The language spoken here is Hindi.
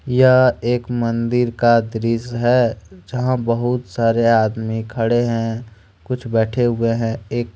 यह एक मंदिर का दृश्य है जहां बहुत सारे आदमी खड़े हैं कुछ बैठे हुए हैं एक।